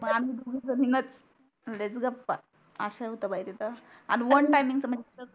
मग आम्ही दोघीझणीनच लयच गप्पा अस होता बाई तिथ आणि वन टाइमिंगच त्या म्हणजे तिथ कस आहे णा